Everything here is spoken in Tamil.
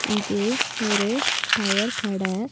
இது ஒரு டயர் கட.